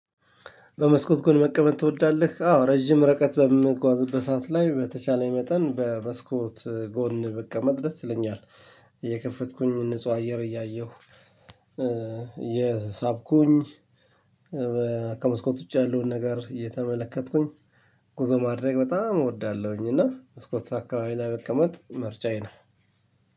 በመስኮት ጎን መቀመጥ ትወዳለህ? አዎ ረጅም ርቀት በምጓዝበት ሰዓት ላይ በተቻለኝ መጠን በመስኮት ጎን ብቀመጥደስ ይለኛል። እየከፈትኩኝ ንጹህ አየር እያየሁ እየሳኩኝ ከመስኮት ውጪ ያለውን ነገር እየተመለከትኩኝ ጉዞ ማድረግ በጣም እወዳለሁኝ። እና መስኮት አካባቢ ላይ መቀመጥ ምርጫዬ ነው።